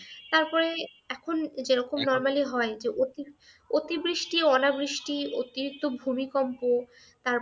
তারপরে এখন যে রকম normally হয়, যে অতি অতিবৃষ্টি, অনাবৃষ্টি, অতিরিক্ত ভূমিকম্প,